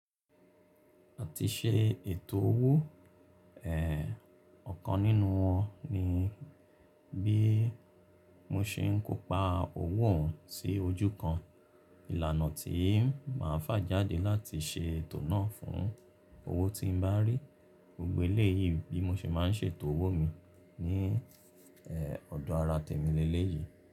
Àti ṣe ètò owó, eh ọ̀kan nínú wọn ni bí mo ṣe ń kó pa owó hàn sí ojú kan. Ìlànà tí ń máa fà jáde láti ṣe ètò náà fún owó tí ń bá rí. Gbogbo eléyìí bí mo ṣe má ń ṣe ètò owó mi ní eh ọdó ara tèmi lé lé yìí.